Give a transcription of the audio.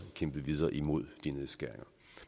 kæmpe videre imod de nedskæringer